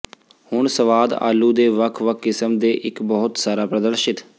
ਹੁਣ ਸਵਾਦ ਆਲੂ ਦੇ ਵੱਖ ਵੱਖ ਕਿਸਮ ਦੇ ਇੱਕ ਬਹੁਤ ਸਾਰਾ ਪ੍ਰਦਰਸ਼ਿਤ